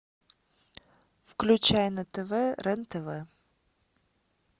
включай на тв рен тв